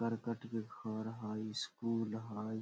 करकट के घर हेय स्कूल हेय।